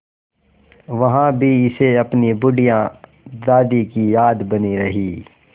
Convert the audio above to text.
वहाँ भी इसे अपनी बुढ़िया दादी की याद बनी रही